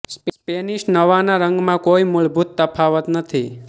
Spanish નવાં નાં રંગમાં કોઈ મૂળભૂત તફાવત નથી